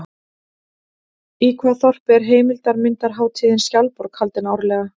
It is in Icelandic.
Í hvaða þorpi er heimildarmyndarhátíðin Skjaldborg haldin árlega?